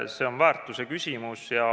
See on väärtuse küsimus.